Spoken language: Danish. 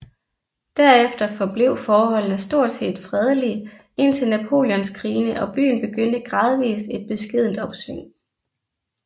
Derefter forblev forholdene stort set fredelige indtil Napoleonskrigene og byen begyndte gradvist et beskedent opsving